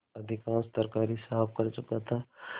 अधिकांश तरकारी साफ कर चुका था